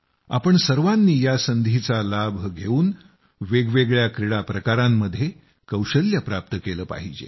आपण सर्वांनी या संधीचा लाभ घेवून वेगवेगळ्या क्रीडाप्रकारांमध्ये कौशल्य प्राप्त केलं पाहिजे